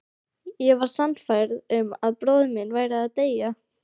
Ég var sannfærð um að bróðir minn væri að deyja